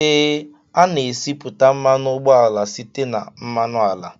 Ee, a na-esipụta mmanụ ụgbọala site na mmanụ ala